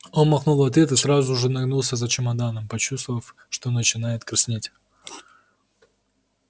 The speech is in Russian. он махнул в ответ и сразу же нагнулся за чемоданом почувствовав что начинает краснеть